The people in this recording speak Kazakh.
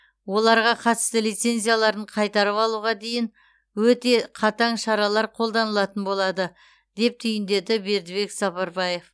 оларға қатысты лицензияларын қайтарып алуға дейін өте қатаң шаралар қолданылатын болады деп түйіндеді бердібек сапарбаев